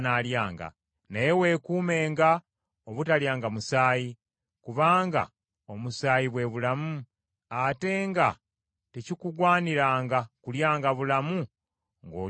Naye weekuumenga obutalyanga musaayi; kubanga omusaayi bwe bulamu, ate nga tekikugwaniranga kulyanga bulamu ng’olya ennyama.